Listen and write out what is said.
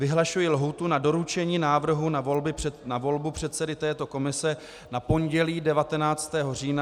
Vyhlašuji lhůtu na doručení návrhu na volbu předsedy této komise na pondělí 19. října na 13. hodinu.